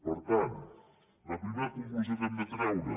per tant la primera conclusió que hem de treure